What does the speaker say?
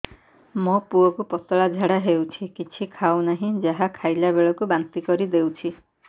ମୋ ପୁଅ କୁ ପତଳା ଝାଡ଼ା ହେଉଛି କିଛି ଖାଉ ନାହିଁ ଯାହା ଖାଇଲାବେଳକୁ ବାନ୍ତି କରି ଦେଉଛି